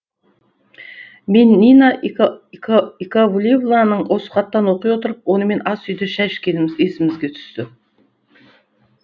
мен нина яковлевнаның осы хатын оқи отырып онымен асүйде шай ішкеніміз есіме түсті